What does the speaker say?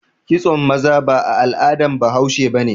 Kitson maza ba al'adan bahaushe ba ne.